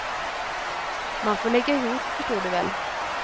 Man får lägga ihop, förstår du väl.